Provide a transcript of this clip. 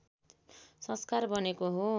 संस्कार बनेको हो